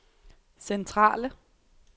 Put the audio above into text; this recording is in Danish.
centrale